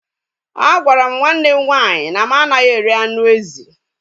A gwara m nwanne m nwaanyị na m anaghị eri anụ ezi